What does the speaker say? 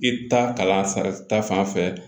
I ta kalan sara ta fan fɛ